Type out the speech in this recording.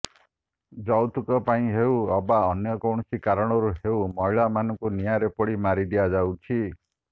ଯୌତୁକ ପାଇଁ ହେଉ ଅବା ଅନ୍ୟ କୌଣସି କାରଣରୁ ହେଉ ମହିଳାମାନଙ୍କୁ ନିଆଁରେ ପୋଡ଼ି ମାରି ଦିଆଯାଉଛି